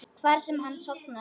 Hvar sem hann sofnar.